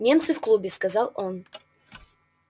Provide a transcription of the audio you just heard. немцы в клубе сказал он